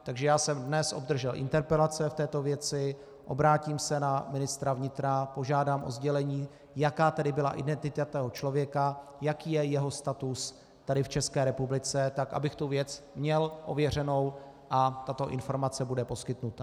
Takže já jsem dnes obdržel interpelace v této věci, obrátím se na ministra vnitra, požádám o sdělení, jaká tedy byla identita toho člověka, jaký je jeho status tady v České republice, tak abych tu věc měl ověřenou, a tato informace bude poskytnuta.